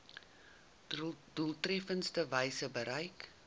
doeltreffendste wyse bereik